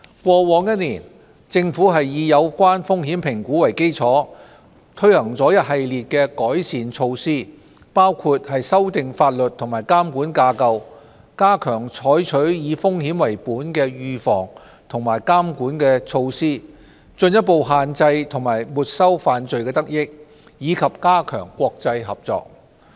過去一年，政府以有關風險評估為基礎，推行了一系列的改善措施，包括修訂法律和監管架構、加強採取以風險為本的預防和監管措施、進一步限制和沒收犯罪得益，以及加強國際合作。